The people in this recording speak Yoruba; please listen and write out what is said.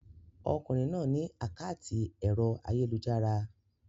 Ọkùnrin náà ní àkátì ẹ̀rọ ayélujára.